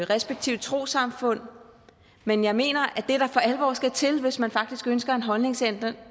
respektive trossamfund men jeg mener at det der for alvor skal til hvis man faktisk ønsker en holdningsændring